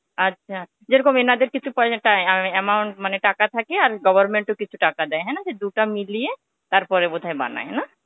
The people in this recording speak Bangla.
আচ্ছা. যেরকম এনাদের কিছু amount মানে টাকা থাকে আর government ও কিছু টাকা দেয়. তাইনা, দুটা মিলিয়ে তারপরে বোধহয় বানায়, না?